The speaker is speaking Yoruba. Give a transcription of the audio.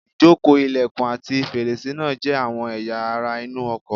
Ìjókòó, ilẹ̀kùn, ati fèrèsé náà jẹ́ àwọn ẹ̀yà ara inú ọkọ̀